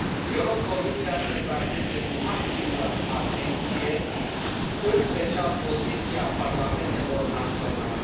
Eu rog Comisia să trateze cu maximă atenție, în special poziția parlamentelor naționale.